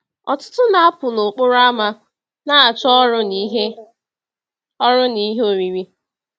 Ọtụtụ na-apụ n’okporo ámá na-achọ ọrụ na ihe ọrụ na ihe oriri.